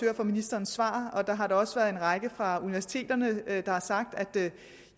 af ministerens svar der har da også været en række personer fra universiteterne der har sagt at